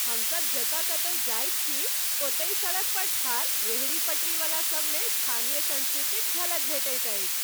हमसब जतय कतहुँ जाइत छी, ओतहि सड़क पर ठाढ़ रेहड़ी पटरीवला सबमे स्थानीय संस्कृतिक झलक भेटैत अछि।